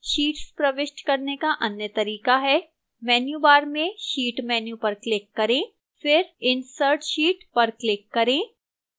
sheets प्रविष्ट करने का अन्य तरीका है menu bar में sheet menu पर click करें फिर insert sheet पर click करें